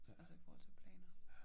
Altså i forhold til planer